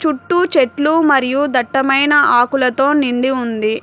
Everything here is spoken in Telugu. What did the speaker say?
చుట్టూ చెట్లు మరియు దట్టమైన ఆకులతో నిండి ఉంది.